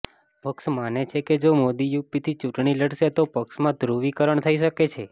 પક્ષ માને છે કે જો મોદી યુપીથી ચૂંટણી લડશે તો પક્ષમાં ધ્રુવીકરણ થઇ શકે છે